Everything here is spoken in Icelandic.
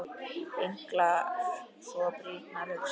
Hnyklar svo brýnnar hugsi.